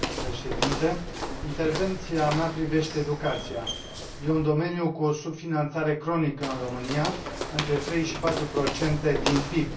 Domnule președinte, intervenția mea privește educația e un domeniu cu o subfinanțare cronică în România, între 3 și 4 procente din PIB.